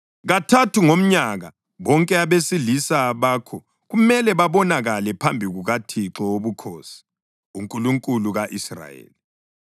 Kathathu ngomnyaka bonke abesilisa bakho kumele babonakale phambi kukaThixo Wobukhosi, uNkulunkulu ka-Israyeli.